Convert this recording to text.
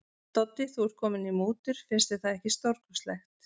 Doddi, þú ert kominn í mútur, finnst þér það ekki stórkostlegt.